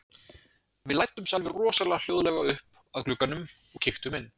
Við læddumst alveg rosalega hljóðlega upp að glugganum og kíktum inn.